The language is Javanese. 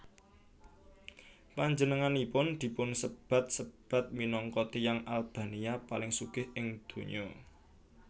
Panjenenganipun dipunsebat sebat minangka tiyang Albania paling sugih ing donya